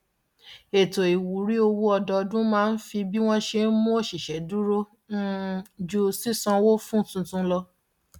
ètò ìwúrí owó ọdọọdún máa ń fi bí wọn ṣe mú òṣìṣẹ dúró um ju sísanwó fún tuntun lọ